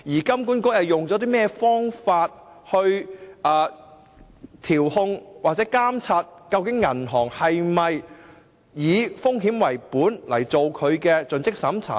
金管局以何方法來調控或監察銀行是否以"風險為本"來進行盡職審查呢？